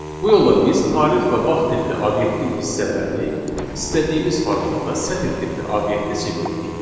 Bu yolla biz tarix və vaxt tipli obyektin hissələrini istədiyimiz formatda sətr tipli obyektə çevirdik.